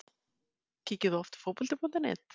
Skemmtileg Kíkir þú oft á Fótbolti.net?